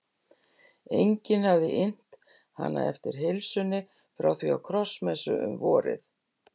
Enginn hafði innt hana eftir heilsunni frá því á krossmessu um vorið.